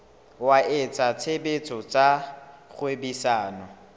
wa etsa tshebetso tsa kgwebisano